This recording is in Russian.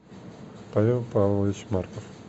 павел павлович марков